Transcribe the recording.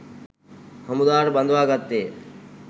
හමුදාවට බඳවා ගත්තේය.